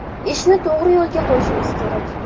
Ishni to‘g‘ri yo‘lga qo‘yishimiz kerak.